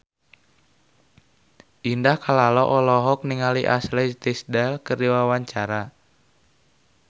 Indah Kalalo olohok ningali Ashley Tisdale keur diwawancara